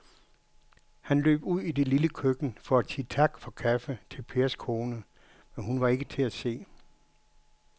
Han løb ud i det lille køkken for at sige tak for kaffe til Pers kone, men hun var ikke til at se.